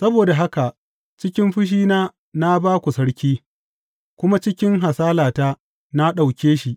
Saboda haka cikin fushina na ba ku sarki, kuma cikin hasalata na ɗauke shi.